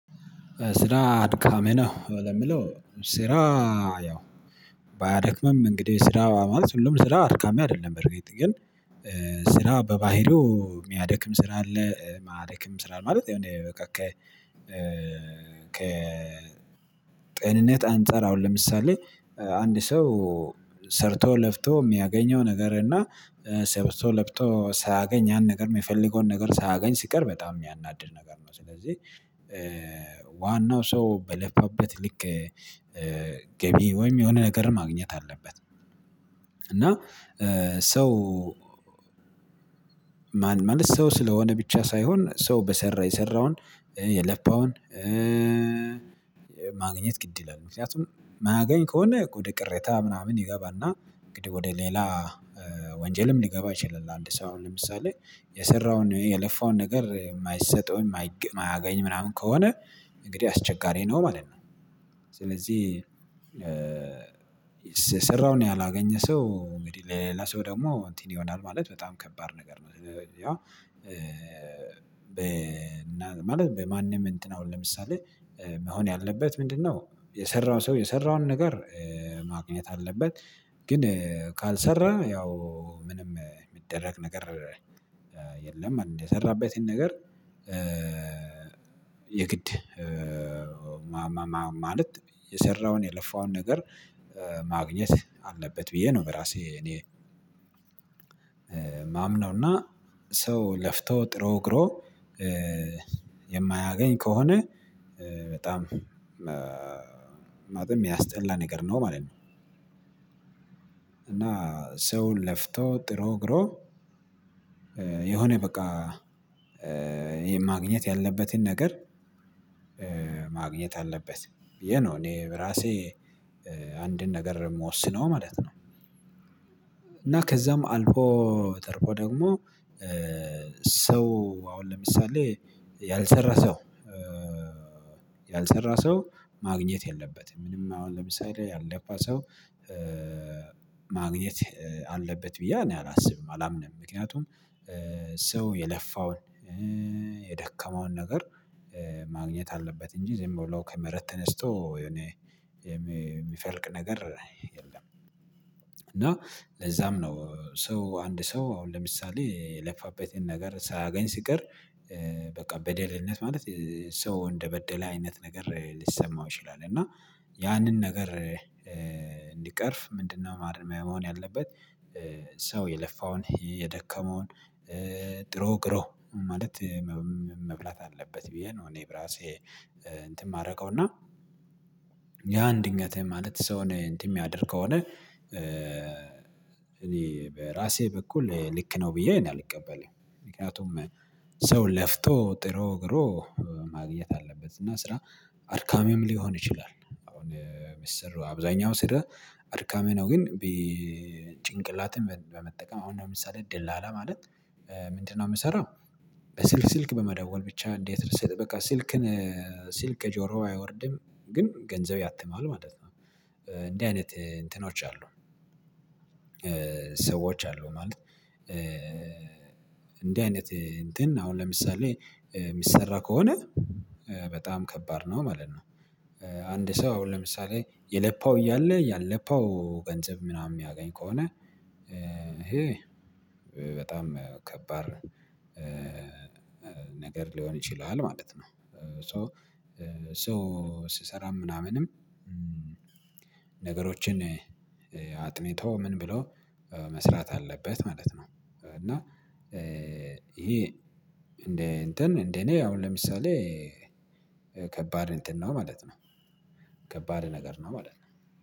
ስራ አድካሜ ነው የምለው ስራ። ያው ባያደክምም እንግዲህ ስራ ማለት ሁሉም ስራ አድካሚ አይደለም በርግጥ ግን። ስራ በባህሪው የሚያደክም ስራ አለ ማያደክም ስራ ማለት እንዴ? በቃ ከ ከ ጤንነት አንፃር አሁን ለምሳሌ አንድ ሰው ሰርቶ ለፊቶ የሚያገኘው ነገር እና ሰርቶ ለብቶ ሳያገኝ ያን ነገር የሚፈልገውን ነገር ሳያገኝ ሲቀር በጣም የሚያናድድ ነገር ነው። ስለዚህ ዋናው ሰው በለበት ልክ ገቢ ወይም የሆነ ነገር ማግኘት አለበት። እና ሰው ማለት ሰው ስለሆነ ብቻ ሳይሆን ሰው በሰራ የሰራውን የለፋውን ማግኘት ግድ ይላል። ምክንያቱም ማገኝ ከሆነ ወደ ቅሬታ ምናምን ይገባና እንግዲህ ወደ ሌላ ወንጀልም ሊገባ ይችላል። አንድ ሰው ለምሳሌ የሰራውን የለፋውን ነገር የማይሰጠውን የማያገኝ ምናምን ከሆነ እንግዲህ አስቸጋሪ ነው ማለት ነው። ስለዚህ ስሰራውን ያላገኘ ሰው እንግዲህ ሌላ ሰው ደግሞ እንትን ይሆናል ማለት በጣም ከባድ ነገር ነው። ያው ማለት በማንም እንትን አሁን ለምሳሌ መሆን ያለበት ምንድነው? የሰራው ሰው የሰራውን ነገር ማግኘት አለበት። ግን ካልሰራ ያው ምንም የሚደረግ ነገር የለም። አንድ የሰራበትን ነገር የግድ ማለት የሰራውን የለፋውን ነገር ማግኘት አለበት ብዬ ነው። በራሴ እኔ የማምነው እና ሰው ለፍቶ ጥሮ ግሮ የማያገኝ ከሆነ በጣም ማለት የሚያስጠላ ነገር ነው ማለት ነው። እና ሰውን ለፍቶ ጥሩ ግሮ የሆነ በቃ ይሄ ማግኘት ያለበትን ነገር ማግኘት አለበት። የነው እኔ ራሴ አንድን ነገር የምወስነው ማለት ነው። እና ከዛም አልፎ ጠርቆ ደግሞ ሰው አሁን ለምሳሌ ያልሰራ ሰው ያልሰራ ሰው ማግኘት የለበትም ምንም አሁን ለምሳሌ ያልለፋ ሰው ማግኘት አለበት ብዬ እኔ አላስብም አላምንም። ምክንያቱም ሰው የለፋውን የደከመውን ነገር ማግኘት አለበት እንጂ ዘምቦላው ከመረት ተነስቶ የሚፈልቅ ነገር የለም። እና ለዛም ነው ሰው አንድ ሰው አሁን ለምሳሌ የለፋበትን ነገር ሳያገኝ ሲቀር በቃ በደልነት ማለት ሰው እንደበደለ አይነት ነገር ሊሰማው ይችላል። እና ያንን ነገር እንዲቀርፍ ምንድነው? ማርሚያ መሆን ያለበት ሰው የለፋውን የደከመውን ጥሮ ግሮ ማለት መብላት አለበት ብዬ ነው። እኔ ብራሴ እንትን የማደርገው እና ያ ድንገት የማለት ሰውን እንትን የሚያደርግ ከሆነ እኔ በራሴ በኩል ልክ ነው ብዬ አልቀበልም። ምክንያቱም ሰው ለፍቶ ጥሩ ግሮ ማግኘት አለበት እና ስራ አድካሚም ሊሆን ይችላል አሁን ሚስር አብዛኛው ስራ አድካሜ ነው። ግን ጭንቅላትን በመጠቀም አሁን ነው ምሳሌ ደላላ ላለ ማለት ምንድነው የምሰራው? በስልክ ስልክ በመደወል ብቻ እንዴት ርስጥ በቃ ስልክን ስልክ ከጆሮዋ አይወርድም። ግን ገንዘብ ያትማል ማለት ነው። እንዴ አይነት እንትኖች አሉ ሰዎች አሉ ማለት እንዲህ አይነት እንትን አሁን ለምሳሌ የሚሰራ ከሆነ በጣም ከባድ ነው። ማለት ነው አንድ ሰው አሁን ለምሳሌ የለፋው እያለ ያለፋው ገንዘብ ምናምን የሚያገኝ ከሆነ ይሄ በጣም ከባድ ነገር ሊሆን ይችላል ማለት ነው። ሶ ሶ ስሰራ ምናምንም ነገሮችን አጥንቶ ምን? ብሎ መስራት አለበት ማለት ነው። እና ይሄ እንደ እንትን እንደ እኔ አሁን ለምሳሌ ከባድ እንትን ነው ማለት ነው። ከባድ ነገር ነው ማለት ነው